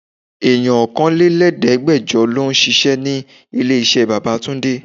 Èèyàn ọkànlẹ́lẹ̀ẹ́degbẹjọ lọ ń ṣíṣe ní ilé iṣẹ́ bàbá túndé.